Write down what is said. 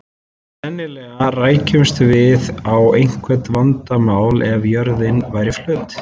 Sennilega rækjumst við á einhver vandamál ef að jörðin væri flöt.